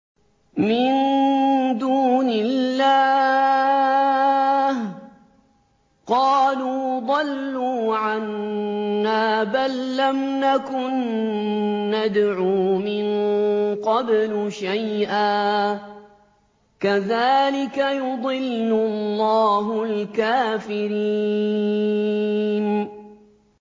مِن دُونِ اللَّهِ ۖ قَالُوا ضَلُّوا عَنَّا بَل لَّمْ نَكُن نَّدْعُو مِن قَبْلُ شَيْئًا ۚ كَذَٰلِكَ يُضِلُّ اللَّهُ الْكَافِرِينَ